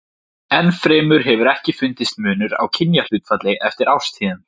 Enn fremur hefur ekki fundist munur á kynjahlutfalli eftir árstíðum.